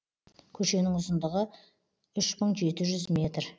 көшенің ұзындығы үш мың жеті жүз метр